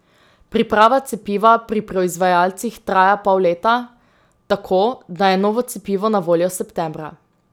Priprava cepiva pri proizvajalcih traja pol leta, tako, da je novo cepivo na voljo septembra.